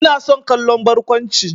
Ina son kallon barkwanci.